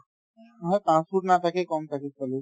নহয় পাঁচ foot নাথাকে কম থাকে